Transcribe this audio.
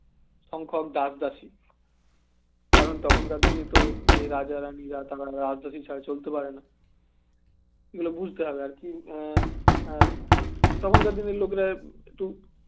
সংখ্যক দাস-দাসী কারণ তখনকার দিনে তো যে রাজা রাণী রা তারা রাজদাসী ছাড়া চলতে পারে না দিয়ে বুঝতে হবে এ আর কি আহ তখনকার দিনে লোকেরা একটু